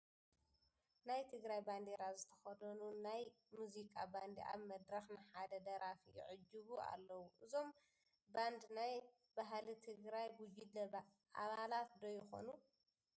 ናይ ትግራይ ባንዴራ ዝተኸደኑ ናይ ሙዚቃ ባንዲ ኣብ መድረኽ ንሓደ ደራፊ ይዕጅቡ ኣለዉ፡፡ እዞም ባንድ ናይ ባህሊ ትግራይ ቡድን ኣባላት ዶ ይኾኑ?